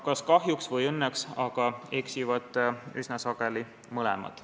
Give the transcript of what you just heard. Kas kahjuks või õnneks, aga eksivad üsna sageli mõlemad.